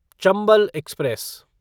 Chambal express